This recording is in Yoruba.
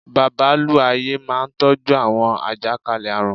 Babalú-ayé máa n tọ́jú àwọn àjàkálẹ̀ àrùn